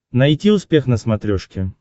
найти успех на смотрешке